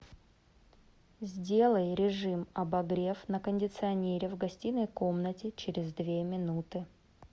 сделай режим обогрев на кондиционере в гостиной комнате через две минуты